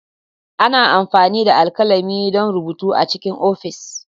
Ana amfani da alkalami don rubutu A cikin ofis.